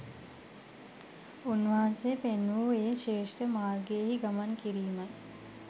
උන්වහන්සේ පෙන්වූ ඒ ශ්‍රේෂ්ඨ මාර්ගයෙහි ගමන් කිරීමයි